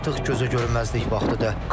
Artıq gözə görünməzlik vaxtı deyil.